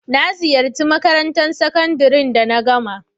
Na ziyace makarantan sakandare da na gama.